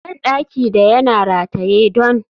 bandaki da yana rataye don